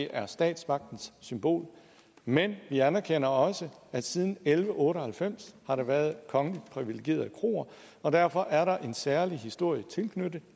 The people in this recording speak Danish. er statsmagtens symbol men vi anerkender også at siden elleve otte og halvfems har der været kongeligt privilegerede kroer og derfor er der en særlig historie tilknyttet